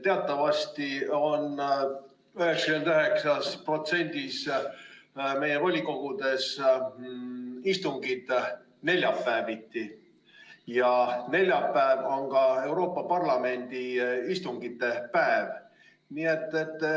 Teatavasti on 99%-s meie volikogudest istungid neljapäeviti ja neljapäev on ka Euroopa Parlamendi istungite päev.